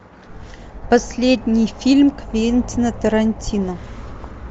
последний фильм квентина тарантино